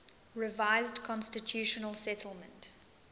revised constitutional settlement